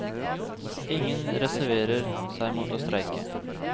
Ingen reserverer seg mot å streike.